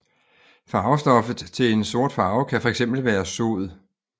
Farvestoffet til en sort farve kan være fx være sod